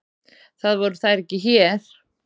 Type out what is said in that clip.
Það voru þær ekki hér.